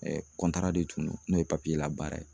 de tun don n'o ye labaara ye.